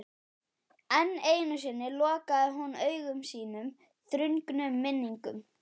Enn einu sinni lokaði hún augum sínum þrungnum minningum.